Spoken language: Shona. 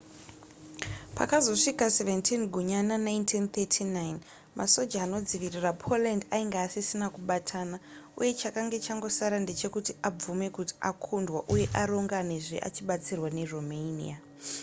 pakazosvika 17 gunyana 1939 masoja anodzivirira poland ainge asisina kubatana uye chakanga changosara ndechekuti abvume kuti akundwa uye aronganezve achibatsirwa neromania